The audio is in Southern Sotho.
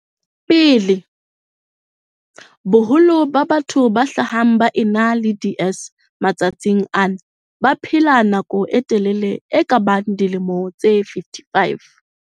Pele, boholo ba batho ba hlahang ba ena le DS matsatsing ana ba baphela nako e telele e kabang dilemo tse 55.